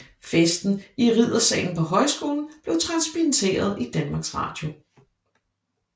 Festen i riddersalen på højskolen blev transmitteret i Danmarks Radio